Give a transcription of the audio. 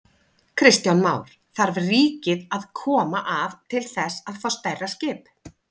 Kristján Már: Þarf ríkið að koma að til þess að fá stærra skip?